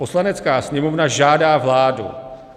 Poslanecká sněmovna žádá vládu